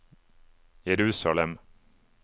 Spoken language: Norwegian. Jerusalem